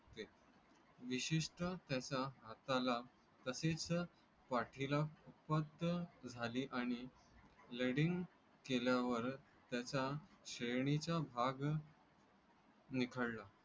विशेष तर त्याचा हाता ला तसेच वाटली ला फक्त झाली आणि lading केल्या वर त्याचा श्रेणी चा भाग. निखळला